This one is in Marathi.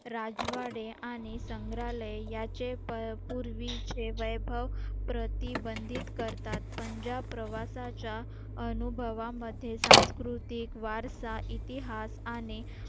राजवाडे आणि संग्रहालय याचे प पूर्वीचे वैभव प्रतिबंधित करतात पंजाब प्रवासाच्या अनुभवामध्ये सांस्कृतिक वारसा इतिहास आणि